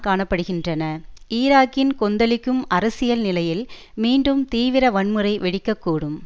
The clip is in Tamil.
காண படுகின்றன ஈராக்கின் கொந்தளிக்கும் அரசியல் நிலையில் மீண்டும் தீவிர வன்முறை வெடிக்க கூடும்